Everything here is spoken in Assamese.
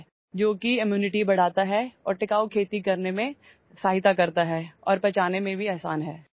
যিয়ে ৰোগ প্ৰতিৰোধ ক্ষমতা বৃদ্ধি কৰে আৰু বহনক্ষম কৃষিত সহায় কৰে আৰু বাজৰা সহজে হজম হয়